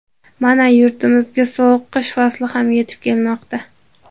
Mana, yurtimizga sovuq qish fasli ham yetib kelmoqda.